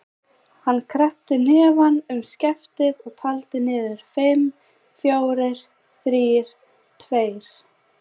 Hann kreppti hnefann um skeftið og taldi niður: fimm, fjórir, þrír, tveir.